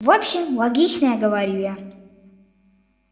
в общем логично говорю я